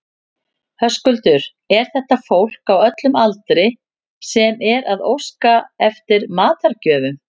Höskuldur, er þetta fólk á öllum aldri sem er að óska eftir matargjöfum?